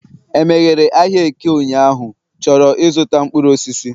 e meghere ahịa eke ụnyahụ? chọrọ ịzụta mkpuru osisi